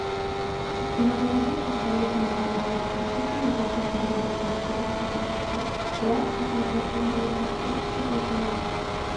тұтқындағылардың жағдайы тым ауыр еді аштық пен азаптан аурудан көпшілігі қаза тапты олар красноградтан днепропетровскіге жаяу